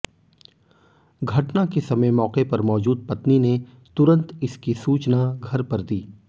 घटना के समय मौके पर मौजूद पत्नी ने तुरंत इसकी सूचना घर पर दी